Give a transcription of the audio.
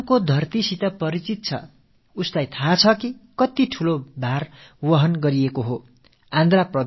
ராஜஸ்தானத்து பூமி பற்றித் தெரிந்தவர்களுக்குத் தான் தெரியும் இது எத்தனை பெரிய சவாலான விஷயம் என்பது